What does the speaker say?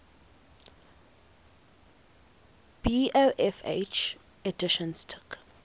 bofh editions took